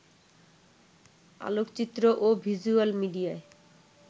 আলোকচিত্র ও ভিজ্যুয়াল মিডিয়ায়